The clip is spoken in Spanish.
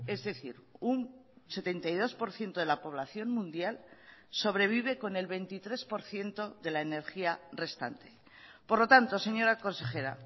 es decir un setenta y dos por ciento de la población mundial sobrevive con el veintitrés por ciento de la energía restante por lo tanto señora consejera